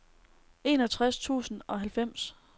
enogtres tusind og halvfems